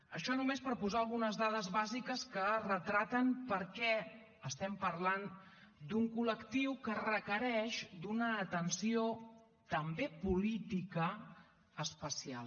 això només per posar algunes dades bàsiques que retraten per què estem parlant d’un col·lectiu que requereix una atenció també política especial